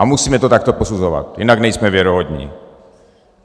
A musíme to takto posuzovat, jinak nejsme věrohodní.